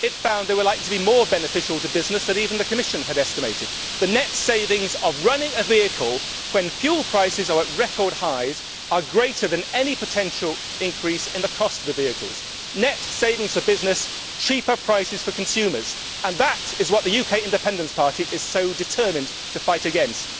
It found they were likely to be more beneficial to businesses than even the Commission had estimated. The net savings on running a vehicle, when fuel prices are at record highs, are greater than any potential increase in the cost of the vehicles net savings for businesses and lower prices for consumers. This is what the UK Independence Party is so determined to fight against.